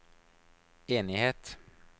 enighet